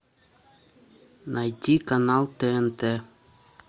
найти канал тнт